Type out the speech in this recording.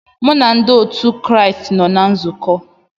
M na ndị otu Kraịst nọ na nzukọ